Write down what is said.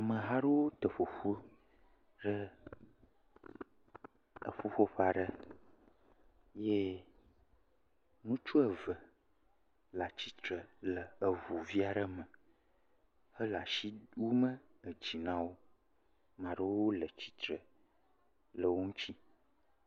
Ameha ɖowo te ƒoƒu ɖe eƒuƒo ƒa ɖe, ye ŋutsu eve le atsitre le eʋu via ɖe me, he le wu me edzi nawo, maɖowo le tsitre le wo ŋutsi.